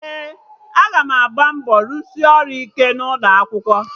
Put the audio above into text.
Ee, aga m agba mbọ rụsị ọrụ ike n'ụlọ akwụkwọ